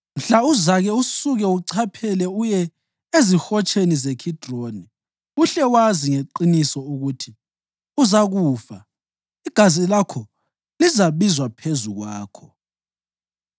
Mhla uzake usuke uchaphe uye eziHotsheni zeKhidironi, uhle wazi ngeqiniso ukuthi uzakufa, igazi lakho lizabizwa phezu kwakho.”